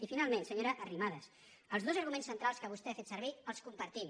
i finalment senyora arrimadas els dos arguments centrals que vostè ha fet servir els compartim